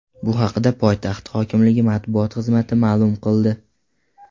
Bu haqda poytaxt hokimligi matbuot xizmati ma’lum qildi.